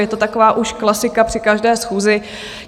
Je to taková už klasika při každé schůzi.